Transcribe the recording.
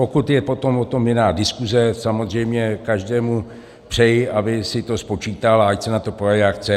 Pokud je potom o tom jiná diskuse, samozřejmě každému přeji, aby si to spočítal, a ať se na to podívá, jak chce.